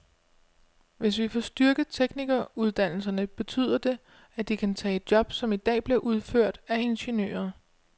Hvis vi får styrket teknikeruddannelserne, betyder det, at de kan tage job, som i dag bliver udført af ingeniører.